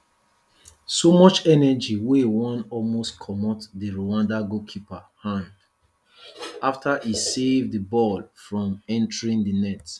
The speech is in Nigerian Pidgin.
so much energy wey wan almost comot di rwanda keeper hand afta e save di ball from entering di net